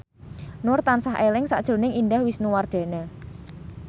Nur tansah eling sakjroning Indah Wisnuwardana